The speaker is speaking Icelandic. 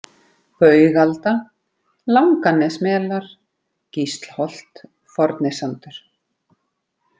Baugalda, Langanesmelar, Gíslholt, Fornisandur